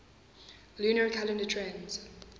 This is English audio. lunar calendar tends